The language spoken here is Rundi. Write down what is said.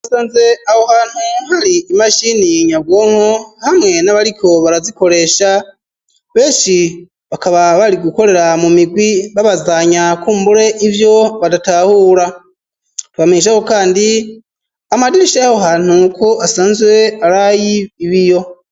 Asanze aho hantu hari imashini nyabwonko hamwe n'abariko barazikoresha benshi bakaba bari gukorera mu migwi babazanya kumbure ivyo badatahura twabamesha kandi amadirisha y'aho hantu ko asanzwe aray'ibiyo.